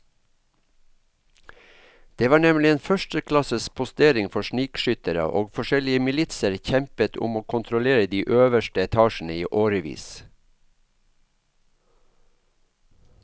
Det var nemlig en førsteklasses postering for snikskyttere, og forskjellige militser kjempet om å kontrollere de øverste etasjene i årevis.